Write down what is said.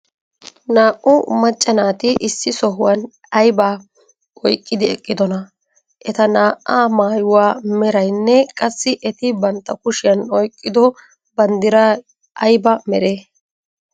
Naa"u macca naati issi sohuwan aybaa oyqqidi eqqidonaa? Eta naa"aa maayuwa meraynne qassi eti bantta kushiyan oyqqido banddiray ayba meree?